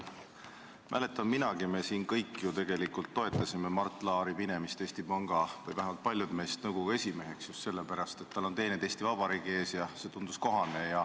Mäletan minagi, me siin kõik – või vähemalt paljud meist – tegelikult toetasime Mart Laari minemist Eesti Panga Nõukogu esimeheks just sellepärast, et tal on teeneid Eesti Vabariigi ees, ja see tundus kohane.